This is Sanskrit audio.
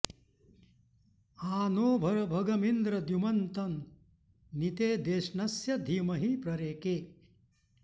आ नो भर भगमिन्द्र द्युमन्तं नि ते देष्णस्य धीमहि प्ररेके